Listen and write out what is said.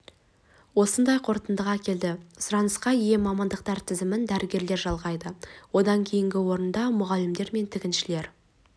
осындай қорытындаға келді сұранысқа ие мамандықтар тізімін дәрігерлер жалғайды одан кейінгі орында мұғалімдер мен тігіншілер